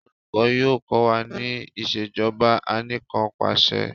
olùkó yóò ko wa ní Ìṣèjọba Anìkanpàṣẹ